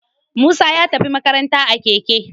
Musa ya tafi makaranta a Keke